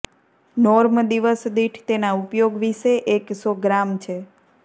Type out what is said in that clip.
norm દિવસ દીઠ તેના ઉપયોગ વિશે એક સો ગ્રામ છે